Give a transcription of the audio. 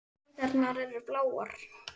Æðarnar eru bláar.